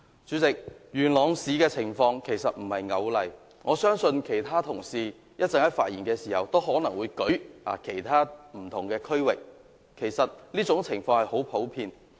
主席，元朗市的情況並非單一的例子，我相信其他同事在稍後發言時，亦可能會舉出其他不同地區的例子，這種情況其實十分普遍。